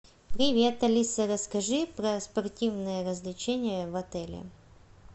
привет алиса расскажи про спортивные развлечения в отеле